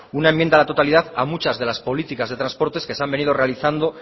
una enmienda a la totalidad a muchas de las políticas de transportes que se han venido realizando